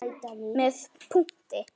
Með punkti.